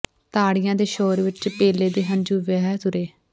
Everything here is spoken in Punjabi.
ਤਾੜੀਆਂ ਦੇ ਸ਼ੋਰ ਵਿੱਚ ਪੇਲੇ ਦੇ ਹੰਝੂ ਵਹਿ ਤੁਰੇ